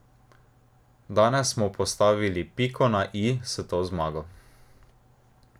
Danes smo postavili piko na i s to zmago.